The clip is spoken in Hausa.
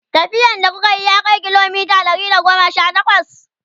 tafiyan da kukayi ya Kai kilomita Ɗari da goma Sha takwas?